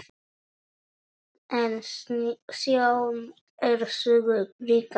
En sjón er sögu ríkari.